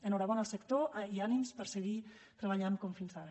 enhorabona al sector i ànims per seguir treballant com fins ara